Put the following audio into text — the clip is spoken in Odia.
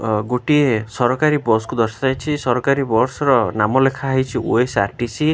ଅ ଗୋଟିଏ ସରକାରୀ ବସ୍ କୁ ଦର୍ଶାଯାଇଛି ସରକାରୀ ବସ ର ନାମ ଲେଖା ଯାଇଛି ଓ_ଏସ_ଆର୍_ଟି_ସି ।